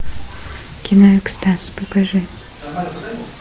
кино экстаз покажи